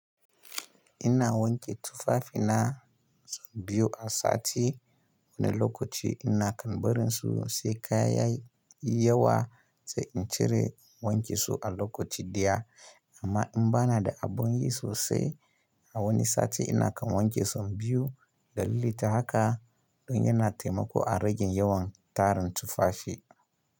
Ina wanke tufafina sau biyu a sati. Wani lokaci ina kam barin su sai kaya yawa sai in cire in wanke su a lokaci ɗaya. Amma in bana da abin yi sosai a wani sati ina kam wanki sau biyu dalili ta haka don yana taimako a rage yawan tarin tufafi.